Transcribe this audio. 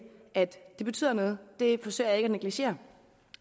at det betyder noget det forsøger jeg ikke negligere